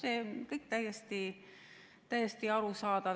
See on kõik täiesti arusaadav.